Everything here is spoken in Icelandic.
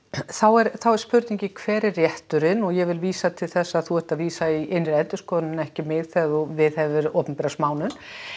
þá er er spurningin hver er rétturinn og ég vil vísa til þess að þú ert að vísa í innri endurskoðun en ekki mig þegar þú viðhefur opinbera smánun